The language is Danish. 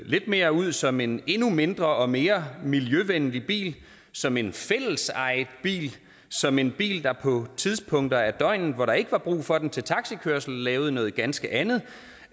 lidt mere ud som en endnu mindre og mere miljøvenlig bil som en fællesejet bil som en bil der på tidspunkter af døgnet hvor der ikke var brug for den til taxikørsel lavede noget ganske andet